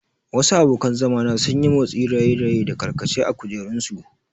Wasu abokan zama na sun yi motsin raye-raye da karkace a kujerunsu.